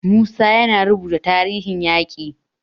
Musa yana rubuta tarihin yaƙin.